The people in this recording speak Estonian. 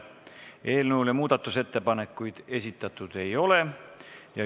Eelnõu kohta muudatusettepanekuid esitatud ei ole.